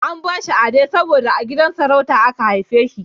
An bashi Ade saboda a gidan sarauta aka haife shi